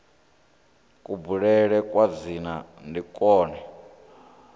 kubulele kwa dzina ndi kwone